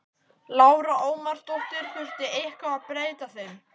Lára Ómarsdóttir: Þurfti eitthvað að breyta þeim?